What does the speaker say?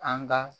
An ga